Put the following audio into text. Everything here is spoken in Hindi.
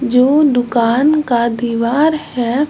जो दुकान का दीवार है।